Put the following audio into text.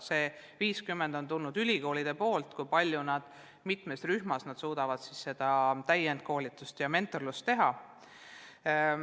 Need 50 on tulnud ülikoolidest ja palju sõltub sellest, kui palju ja mitmes rühmas nad suudavad täiendkoolitust ja mentorlust teha.